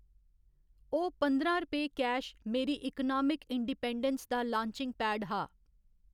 ओह् पंदरां रपेऽ कैश मेरी इकनामिक इंडिपैन्डैंस दा लांचिंग पैड हा।